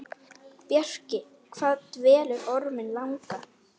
Bjarki, hvað dvelur Orminn langa?